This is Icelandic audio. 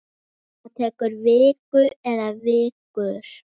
Það tekur viku eða vikur.